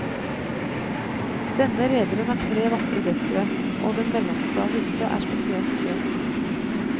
Denne rederen har tre vakre døtre, og den mellomste av disse er spesielt søt.